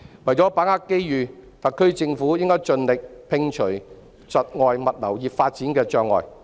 為把握機遇，特區政府應盡力摒除窒礙物流業發展的障礙。